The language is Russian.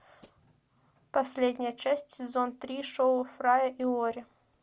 последняя часть сезон три шоу фрая и лори